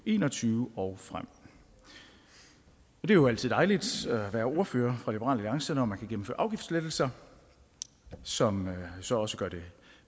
en og tyve og frem det er jo altid dejligt at være ordfører for liberal alliance når man kan gennemføre afgiftslettelser som så også gør det